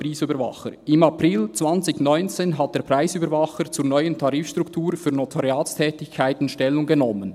«Im April 2019 hat der Preisüberwacher zur neuen Tarifstruktur von Notariatstätigkeiten Stellung genommen